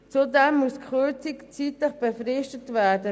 Zudem muss die Kürzung zeitlich befristet werden.